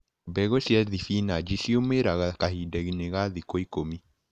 Mbegũ cia thibinaci cĩumĩraga kahindainĩ ga thikũ ikũmi.